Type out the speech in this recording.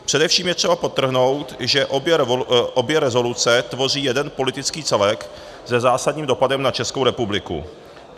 Především je třeba podtrhnout, že obě rezoluce tvoří jeden politický celek se zásadním dopadem na Českou republiku.